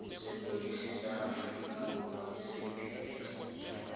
sepodisi sa aforika borwa saps